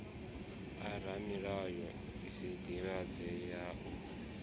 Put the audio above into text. a ramulayo sdivhadzo ya u